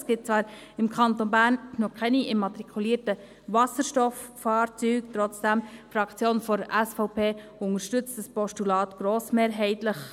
Es gibt zwar im Kanton Bern noch keine immatrikulierten Wasserstofffahrzeuge, trotzdem unterstützt die Fraktion der SVP dieses Postulat grossmehrheitlich.